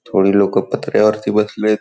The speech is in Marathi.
थोडी लोक पत्रा वरती बासलेत.|